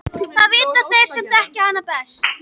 Það vita þeir sem þekkja hann best.